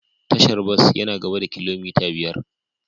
Tashar bas yana gaba da kilomita biyar.